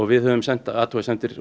við höfum sent athugasemdir